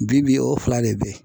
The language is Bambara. Bi bi o fila de be yen